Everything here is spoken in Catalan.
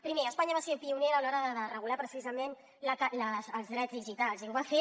primer espanya va ser pionera a l’hora de regular precisament els drets digitals i ho va fer